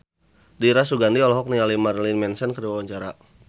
Dira Sugandi olohok ningali Marilyn Manson keur diwawancara